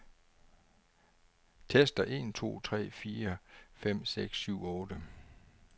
Tester en to tre fire fem seks syv otte.